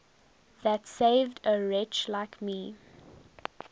that saved a wretch like me